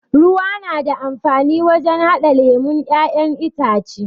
Ruwa yana da amfani wurin haɗa lemon ƴaƴen itace